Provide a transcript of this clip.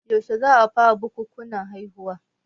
Yaushe za a fara bukukuwan haihuwa?